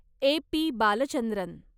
A. P. Balachandran